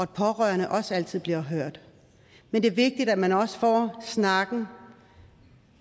de pårørende også altid bliver hørt men det er vigtigt at man også får snakken